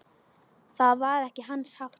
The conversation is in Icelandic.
Það var ekki hans háttur.